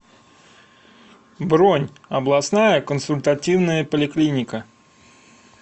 бронь областная консультативная поликлиника